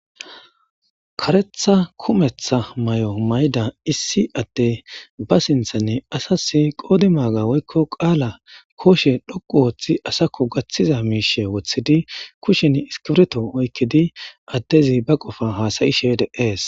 Karetha kumeththa mayo mayida issi addey asas ba sinthani asasi qodimaaga woykko qaala kooshe dhoqqu oothidi asakko gathiza miishshe wothidi kushen iskiripto oykkidi addezi ba qofa haada7ishe de7ees.